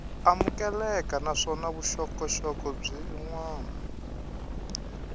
amukeleka naswona vuxokoxoko byin wana